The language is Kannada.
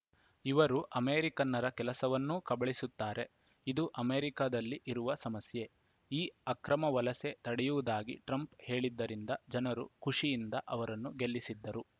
ಇವರು ಅಮೆರಿಕನ್ನರ ಕೆಲಸವನ್ನೂ ಕಬಳಿಸುತ್ತಾರೆ ಇದು ಅಮೆರಿಕದಲ್ಲಿ ಇರುವ ಸಮಸ್ಯೆ ಈ ಅಕ್ರಮ ವಲಸೆ ತಡೆಯುವುದಾಗಿ ಟ್ರಂಪ್‌ ಹೇಳಿದ್ದರಿಂದ ಜನರು ಖುಷಿಯಿಂದ ಅವರನ್ನು ಗೆಲ್ಲಿಸಿದ್ದರು